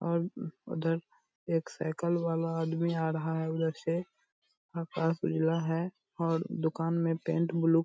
और उधर एक साईकल वाला आदमी आ रहा है उधर से आकाश उजला है और दुकान में पेंट ब्लू --